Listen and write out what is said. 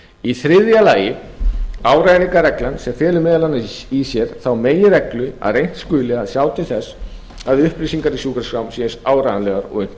í þriðja lagi rafræningarreglan sem felur meðal annars í sér þá meginreglu að reynt skuli að sjá til þess að upplýsinga í sjúkraskrám séu eins áreiðanlegar og unnt